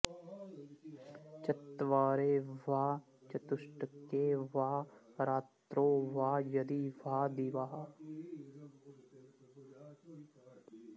चत्वरे वा चतुष्के वा रात्रौ वा यदि वा दिवा